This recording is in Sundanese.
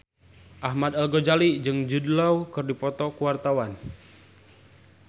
Ahmad Al-Ghazali jeung Jude Law keur dipoto ku wartawan